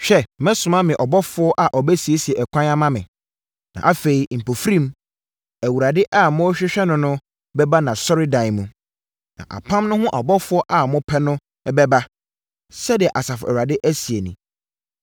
Hwɛ! Mɛsoma me ɔbɔfoɔ a ɔbɛsiesie ɛkwan ama me. Na afei, mpofirim, Awurade a morehwehwɛ no no bɛba nʼasɔredan mu. Na apam no ho ɔbɔfoɔ a mopɛ no no bɛba, sɛdeɛ Asafo Awurade seɛ nie.